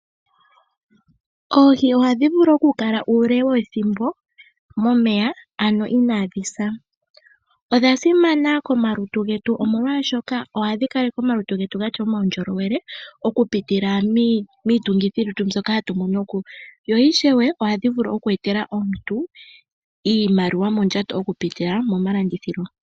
Oohi oha dhivulu okukala uule wethimbo momeya ano inaa dhisa. Odha simana komalutu getu omolwaashoka ohadhi kaleke omalutu getu gatya omaundhjolowele okupitila miitungithilutu mbyoka hatu monoko, yo ishewe ohadhi vulu oku etela omuntu iimaliwa mondjato okupitila momalandithilo.